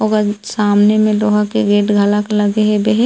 और सामने में लोहा के गेट गलक लग है बहे।